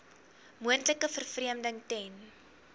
moontlike vervreemding ten